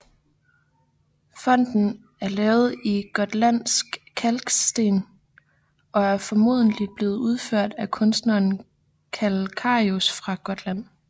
Fonten er lavet i gotlandsk kalksten og er formodentlig blevet udført af kunstneren Calcarius fra Gotland